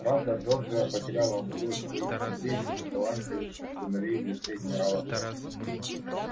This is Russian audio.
правда джорджия потеряла одного из своих храбрейших и талантливейших сыновей в лице генерала т